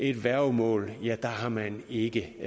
et værgemål har man ikke